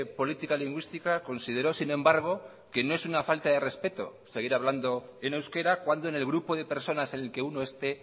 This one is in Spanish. política lingüística consideró sin embargo que no es una falta de respeto seguir hablando en euskera cuando en el grupo de personas en el que uno esté